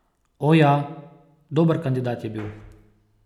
O, ja, dober kandidat je bil.